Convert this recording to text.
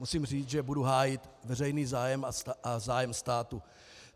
Musím říct, že budu hájit veřejný zájem a zájem státu.